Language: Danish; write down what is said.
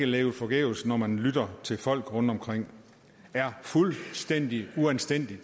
levet forgæves når man lytter til folk rundtomkring det er fuldstændig uanstændigt